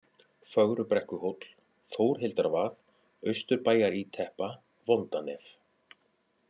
Fögrubrekkuhóll, Þórhildarvað, Austurbæjaríteppa, Vondanef